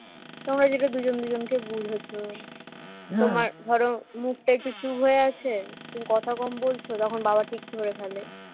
তোমরা যেটা দুজন দুজনকে বুঝেছ তোমার ধরো মুখটা একটু চুপ হয়ে আছে তুমি কথা কম বলছ তখন বাবা ঠিক ধরে ফেলে